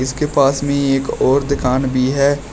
इसके पास में एक और दुकान भी है।